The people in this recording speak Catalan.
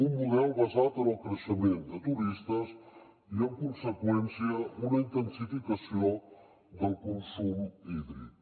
un model basat en el creixement de turistes i en conseqüència una intensificació del consum hídric